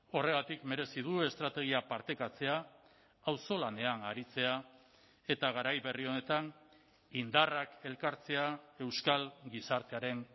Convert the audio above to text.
horregatik merezi du estrategia partekatzea auzolanean aritzea eta garai berri honetan indarrak elkartzea euskal gizartearen